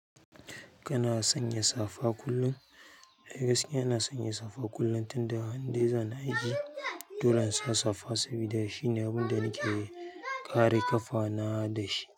Kana sanya safa kullum? Ai gaskiya ina sanya safa kullum tunda indai zani aiki, dole in sa safa sabida shine abun da nake kare ƙafana da shi.